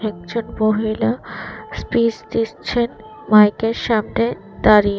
একজন মহিলা স্পিচ দিচ্ছেন মাইকের সামনে দাঁড়িয়ে।